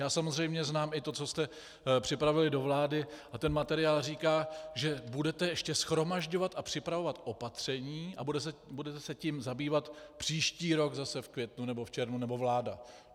Já samozřejmě znám i to, co jste připravili do vlády, a ten materiál říká, že budete ještě shromažďovat a připravovat opatření a budete se tím zabývat příští rok zase v květnu nebo v červnu nebo vláda.